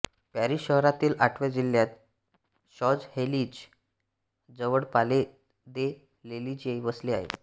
Paris शहरातील आठव्या जिल्ह्यात शॉंजएलिजे जवळ पाले दे लेलिजे वसले आहे